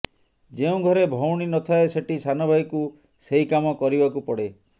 ଯେଉଁ ଘରେ ଭଉଣୀ ନଥାଏ ସେଠି ସାନଭାଇକୁ ସେହି କାମ କରିବାକୁ ପଡ଼େ